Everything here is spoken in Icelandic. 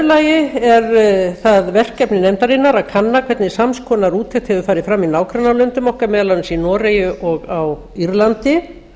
í öðru lagi er það verkefni nefndarinnar að kanna hvernig sams konar úttekt hefur farið fram í nágrannalöndum okkar meðal annars í noregi og á írlandi